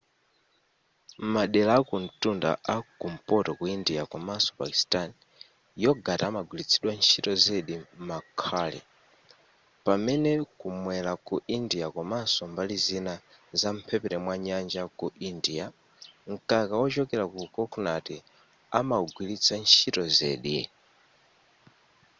m'madera akumtunda a kumpoto ku india komanso pakistan yogurt amagwiritsidwa ntchito zedi m'ma curry pamene kumwera ku india komanso mbali zina za mphepete mwa nyanja ku india mkaka wochokera ku kokonati amawugwiritsa ntchito zedi